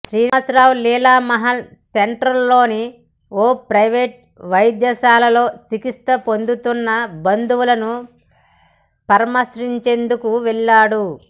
శ్రీనివాసరావు లీలామహాల్ సెంటర్లోని ఓ ప్రైవేటు వైద్యశాలలో చికిత్స పొందుతున్న బంధువులను పరామర్శించేందుకు వెళ్లాడు